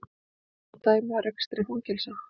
Taka má dæmi af rekstri fangelsa.